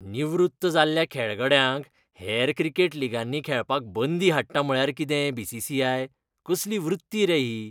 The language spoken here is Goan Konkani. निवृत्त जाल्ल्या खेळगड्यांक हेर क्रिकेट लिगांनी खेळपाक बंदी हाडटा म्हळ्यार कितें बी.सी.सी.आय.? कसली वृत्ती रे ही?